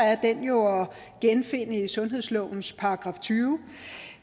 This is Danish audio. er den jo at genfinde i sundhedslovens § tyvende